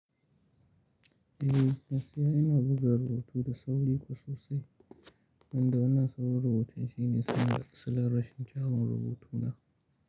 Eh, gaskiya ina buga rubutu da sauri kuwa sosai, wanda wannan saurin rubutun shine tsarin asalin rashin kyawun rubutu na.